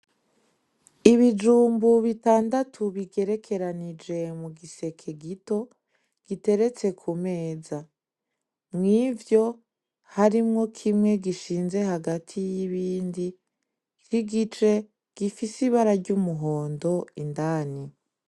Ibijumbu bitandatu bigerekeranije mugiseke gito giteretse ku meza, mw'ivyo harimwo kimwe gishinze hagati y'ibindi c'igitwe gifise ibara ry'umuhondo indani.